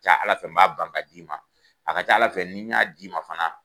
A ka ca Ala fɛ n b'a ban k'a d'i ,ma, a ka caa Ala fɛ ni y'a di ma fana